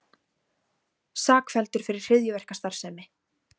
Sakfelldur fyrir hryðjuverkastarfsemi